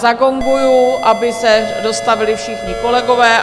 Zagonguji, aby se dostavili všichni kolegové.